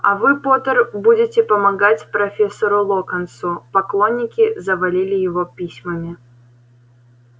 а вы поттер будете помогать профессору локонсу поклонники завалили его письмами